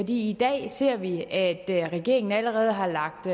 i dag ser vi at regeringen allerede har lagt